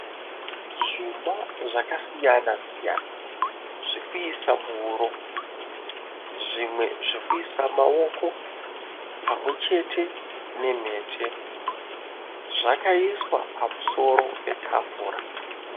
Zvuma zvakasiyana siyana. Zvekuisa muhuro, zvimwe zvekuisa mumaoko pamwechete nemhete. Zvakaiswa pamusoro patafura.